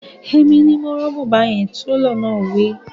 Èmi ni mo rán bùbá yẹn, Télọ̀ náà wí